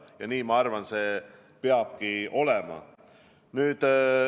Ja nii, ma arvan, peabki olema.